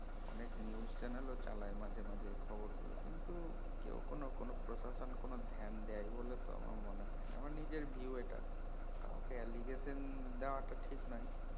অনেক news channel চালায় মাঝে মাঝে খবর গুলো কিন্তু কেও কোন কোন প্রশাসন কোন ধ্যান দেই বলে তো আমার মনে হয় না আমার news view এটা কাউকে allegation দেওয়াটা ঠিক নয়